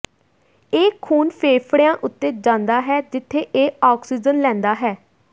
ਇਹ ਖੂਨ ਫੇਫੜਿਆਂ ਉੱਤੇ ਜਾਂਦਾ ਹੈ ਜਿੱਥੇ ਇਹ ਆਕਸੀਜਨ ਲੈਂਦਾ ਹੈ